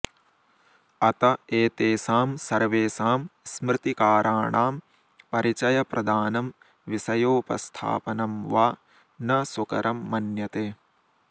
अत एतेषां सर्वेषां स्मृतिकाराणां परिचयप्रदानं विषयोपस्थापनं वा न सुकरं मन्यते